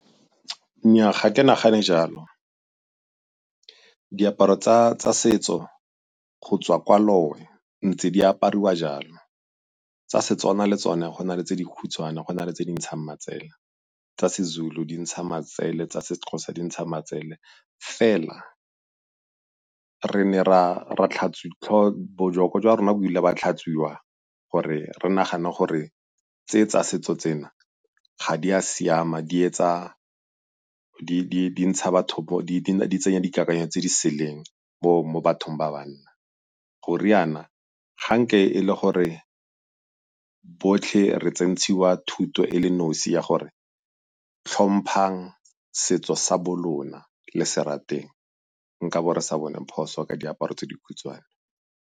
Nnyaa, ga ke nagane jalo. Diaparo tsa tsa setso go tswa kwa ntse di apariwa jalo. Tsa Setswana le tsone go na le tse dikhutshwane go na le tse di ntshang matsela, tsa seZulu di ntsha matsele tsa seXhosa di ntsha matsele. Fela re ne ra jwa rona bo ile ba tlhatswiwa gore re nagane gore tse tsa setso tsena ga di a siama di etsa di tsenya dikakanyo tse di seleng bo mo bathong ba banna. Go riana ga nke e le gore botlhe re tsentshiwa thuto e le nosi ya gore tlhomphang setso sa bo lona le se rateng, nkabo re sa bone phoso ka diaparo tse dikhutshwane.